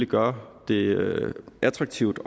gøre det attraktivt